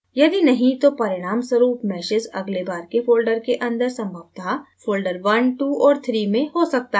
यदि नहीं तो परिणामस्वरूप meshes अगले बार के folders के अंदर संभवत: folders 12 और 3 में हो सकता है